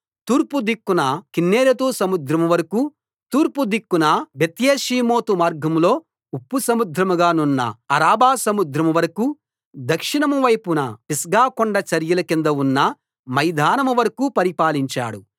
తూర్పు దిక్కున కిన్నెరెతు సముద్రం వరకూ తూర్పు దిక్కున బెత్యేషీమోతు మార్గంలో ఉప్పు సముద్రంగా నున్న అరాబా సముద్రం వరకూ దక్షిణం వైపున పిస్గాకొండ చరియల కింద ఉన్న మైదానం వరకూ పరిపాలించాడు